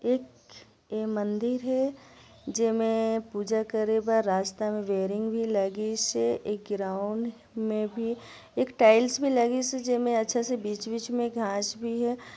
एक ए मंदिर हे जेमे पूजा करे बर रास्ता में रेलिंग भी लगिस हे एक ग्राउंड में भी एक टाइल्स भी लगिस हे जेमे अच्छा से बिच-बिच में घास भी हे।